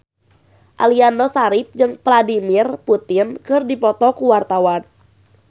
Aliando Syarif jeung Vladimir Putin keur dipoto ku wartawan